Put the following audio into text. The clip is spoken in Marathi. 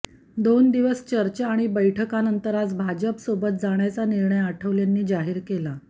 दोन दिवस चर्चा आणि बैठकानंतर आज भाजपसोबत जाण्याचा निर्णय आठवलेंनी जाहीर केला